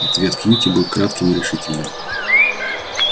ответ кьюти был кратким и решительным